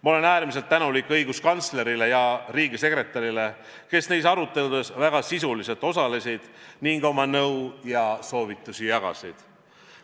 Ma olen äärmiselt tänulik õiguskantslerile ja riigisekretärile, kes neis aruteludes väga sisuliselt osalesid ning oma nõu ja soovitusi jagasid.